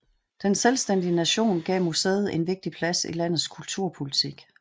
Den selvstændige nation gav museet en vigtig plads i landets kulturpolitik